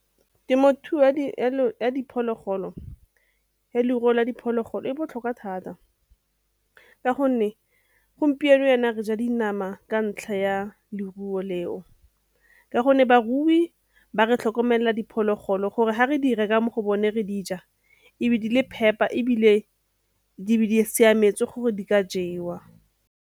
Temothuo ya diphologolo ya lerup la diphologolo e botlhokwa thata ka gonne gompieno yaana re ja dinama ka ntlha ya leruo leo, a gonne barui ba re tlhokomelela diphologolo gore ga re di reka mo go bone re di ja e be di le phepa ebile di siametse gore di ka jewa.